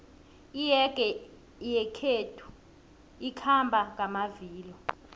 iyege yakwethu ikhamba ngamavilo